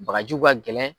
Bagaji ka gɛlɛn